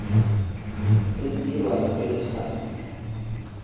tse di dirwang pele ga